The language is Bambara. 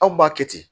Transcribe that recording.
Anw b'a kɛ ten